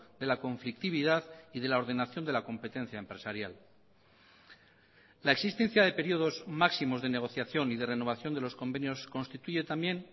de la conflictividad y de la ordenación de la competencia empresarial la existencia de períodos máximos de negociación y de renovación de los convenios constituye también